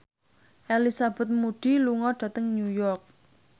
Elizabeth Moody lunga dhateng New York